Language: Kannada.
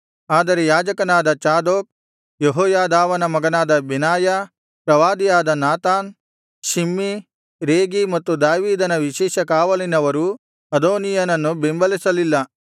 ಆದರೆ ಯಾಜಕನಾದ ಚಾದೋಕ್ ಯೆಹೋಯಾದಾವನ ಮಗನಾದ ಬೆನಾಯ ಪ್ರವಾದಿಯಾದ ನಾತಾನ್ ಶಿಮ್ಮೀ ರೇಗೀ ಮತ್ತು ದಾವೀದನ ವಿಶೇಷ ಕಾವಲಿನವರು ಅದೋನೀಯನನ್ನು ಬೆಂಬಲಿಸಲಿಲ್ಲ